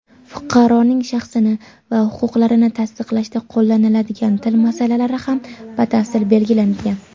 fuqaroning shaxsini va huquqlarini tasdiqlashda qo‘llaniladigan til masalalari ham batafsil belgilangan.